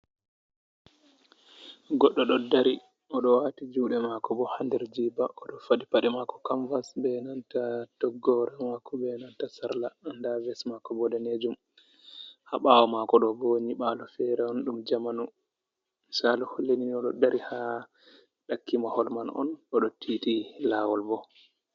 Goɗɗo ɗo dari, oɗo wati juɗe mako bo handerjiba, oɗo faɗi paɗe mako kamvas be nanta toggore mako be nanta sarla. nda ves mako bo danejum. ha bawo mako do bonyi balo fere on ɗum jamanu, misalu hollini oɗo dari ha ɗakki mahol man on oɗo titi lawol bo.